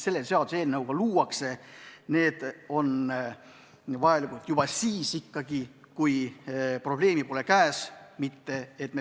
Selles seaduseelnõus ette nähtud ettevalmistused on vajalikud juba siis, kui probleem pole veel käes.